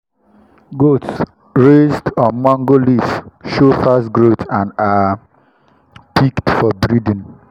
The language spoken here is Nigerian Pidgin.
goat kids raised on mango leaves show fast growth and are picked for breeding.